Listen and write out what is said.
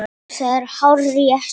Jú, það er hárrétt